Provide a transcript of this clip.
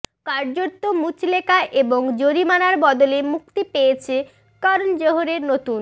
কার্যত মুচলেকা এবং জরিমানার বদলে মুক্তি পেয়েছে কর্ণ জোহরের নতুন